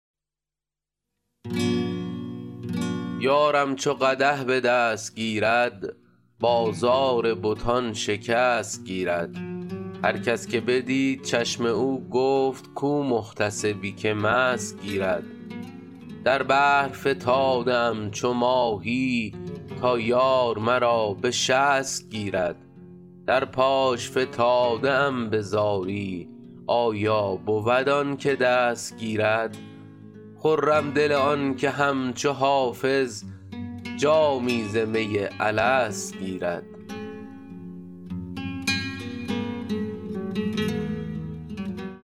یارم چو قدح به دست گیرد بازار بتان شکست گیرد هر کس که بدید چشم او گفت کو محتسبی که مست گیرد در بحر فتاده ام چو ماهی تا یار مرا به شست گیرد در پاش فتاده ام به زاری آیا بود آن که دست گیرد خرم دل آن که همچو حافظ جامی ز می الست گیرد